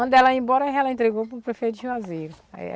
Quando ela ia embora ela entregou para o prefeito de Juazeiro. Aí